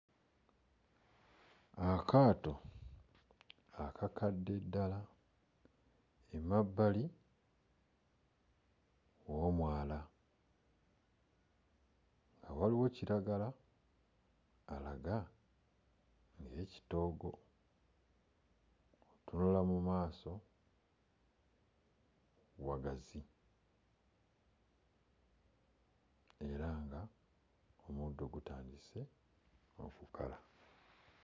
Akaato akakadde ddala emabbali w'omwala nga waliwo kiragala alaga ng'ekitoogo, bw'otunula mu maaso wagazi era nga omuddo gutandise okukala.